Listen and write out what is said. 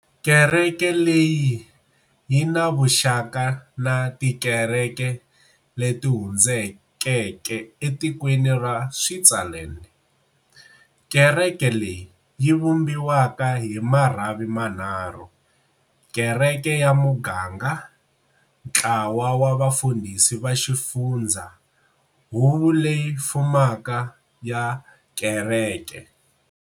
Kereke leyi yi na vuxaka na tikereke leti hundzulukeke etikweni ra Switzerland. Kereke leyi yi vumbiwa hi marhavi manharhu-Kereke ya muganga, Ntlawa wa Vafundhisi va xifundza, Huvo leyi fumaka ya kereke.